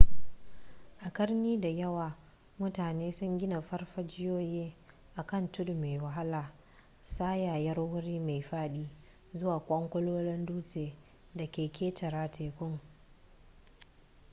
a ƙarni da yawa mutane sun gina farfajiyoyi a kan tudu mai wahala tsayayyar wuri mai faɗi zuwa ƙwanƙolin dutsen da ke ƙetare tekun